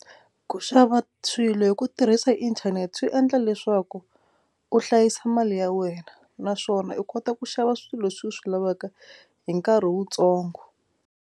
Ku xava swilo hi ku tirhisa inthanete swi endla leswaku u hlayisa mali ya wena naswona u kota ku xava swilo leswi u swi lavaka hi nkarhi wutsongo.